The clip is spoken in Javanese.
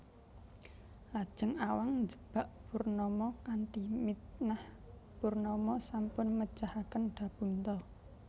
Lajeng Awang njebak Purnama kanthi mitnah Purnama sampun mejahaken Dapunta